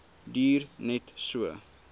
duur net so